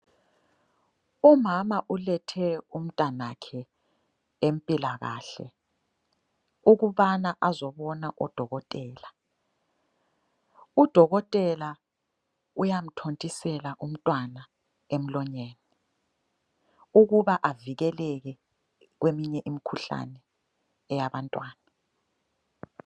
Umama ulethe umntanakhe empilakahle ukubana azobona odokotela. Udokotela uyamthontisela umntwana emlonyeni ukuba avikeleke kweminye imikhuhlane eyabantwana.